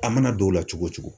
A mana don o la cogo o cogo